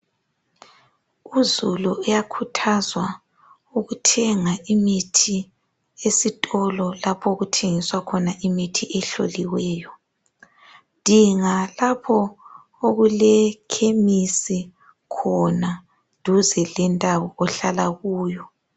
Uzulu uyakhuthazwa ukuthenga imithi esitolo lapho okuthengiswa khona imithi ehloliweyo dinga lapho okule khemisi khona duze lendawo ohlala kuyo.